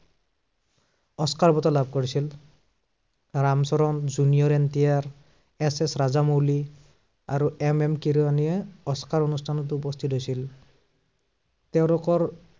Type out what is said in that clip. Oscar বঁটা লাভ কৰিছিল। Ram Charan junior M T R, S S Rajamouli, আৰু এম এম কিৰণিয়ে অস্কাৰ অনুষ্ঠানত উপস্থিত হৈছিল। তেওঁলোকৰ